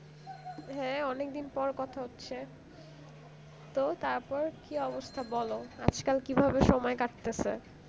হ্যাঁ অনেকদিন পর কথা হচ্ছে তো তারপর কি অবস্থা বলো আজকাল কিভাবে সময় কাটতেছে